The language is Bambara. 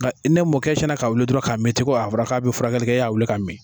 Nga n'e mo kɛ e sinna ka wuli dɔrɔn ka mi ten ko a fɔra k'a bi furakɛli kɛ e ya wuli ka mi.